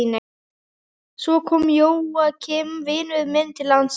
Svo kom Jóakim vinur minn til landsins.